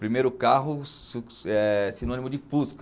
Primeiro carro é sinônimo de fusca.